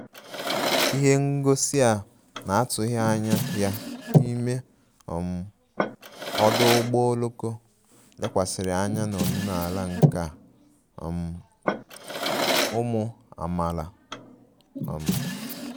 Ihe ngosi a na-atụghị anya ya n'ime um ọdụ ụgbọ oloko lekwasịrị anya na omenala nka um ụmụ amaala um